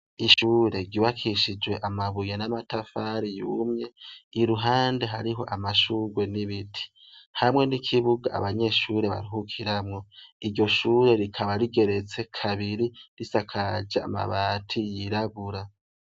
Ishure ryubakishije amabuye namatafari yumye iruhande hari amashurwe nibiti hamwe nikibuga abanyeshure baruhukiramwo, iryo ishure rikaba rigeretse kabiri rikaba risakaje amabati yirabura.